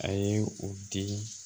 A ye u di